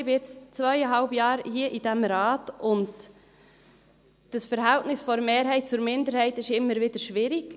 Ich muss sagen, ich bin jetzt seit zweieinhalb Jahren hier in diesem Rat, und das Verhältnis der Mehrheit zur Minderheit ist immer wieder schwierig.